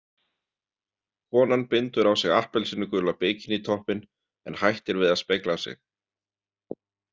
Konan bindur á sig appelsínugula bikinítoppinn en hættir við að spegla sig.